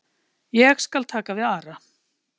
Ég skal taka við Ara.